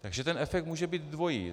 Takže ten efekt může být dvojí.